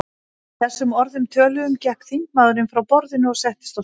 Að þessum orðum töluðum gekk þingmaðurinn frá borðinu og settist á stól.